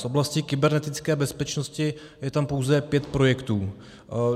Z oblasti kybernetické bezpečnosti je tam pouze pět projektů.